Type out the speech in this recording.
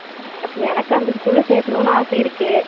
எனக்கு அந்த school ல சேத்தனும்னு ஆசை இருக்கு